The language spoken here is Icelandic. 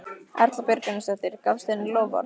Erla Björg Gunnarsdóttir: Gafstu henni loforð?